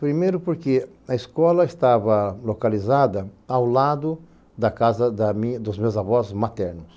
Primeiro porque a escola estava localizada ao lado da casa da minha dos meus avós maternos.